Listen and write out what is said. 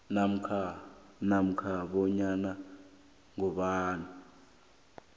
namkha nanyana ngubani